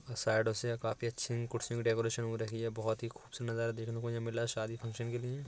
अ साइडों से अ काफी अच्छी कुर्सियों की डेकोरशन हो रखी है। बोहोत ही खूबसूरत नजारा यहाँ देखने को मिला रहा है शादी फंक्शन के लिए।